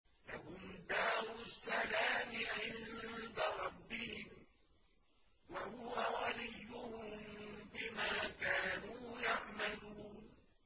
۞ لَهُمْ دَارُ السَّلَامِ عِندَ رَبِّهِمْ ۖ وَهُوَ وَلِيُّهُم بِمَا كَانُوا يَعْمَلُونَ